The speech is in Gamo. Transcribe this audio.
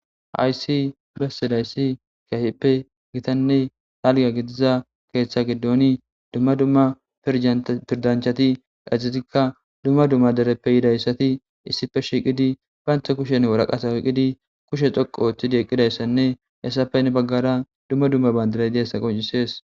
haysi bessedayssi kiyafippe gitanne talga gidiza keeththa giddoni dumma dumma pirdanchati ezetikka dumma dumma dereppe yidayssati issife shiqidi baynta kushen woraqasa uqidi kushe xoqo ooththidi eqqidayssanne essapenne baggara dumma dumma bandiray deesa qoncisees